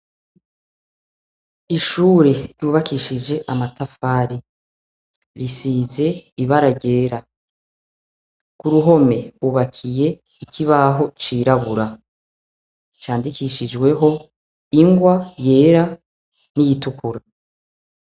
Ishure ryubakishije amatafare risize ibara ryera kuruhome ubakiye ikibaho cirabura candikishijweho ingwa yera niyoitukura.